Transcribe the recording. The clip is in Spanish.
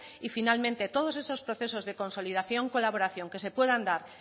y finalmente todos esos procesos de consolidación y colaboración que se puedan dar